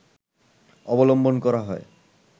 অবলম্বন করা হয়